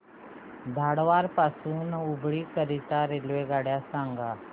धारवाड पासून हुबळी करीता रेल्वेगाडी सांगा